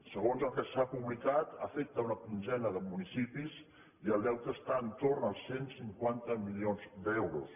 segons el que s’ha pu·blicat afecta una quinzena de municipis i el deute està entorn als cent i cinquanta milions d’euros